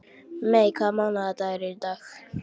Mey, hvaða mánaðardagur er í dag?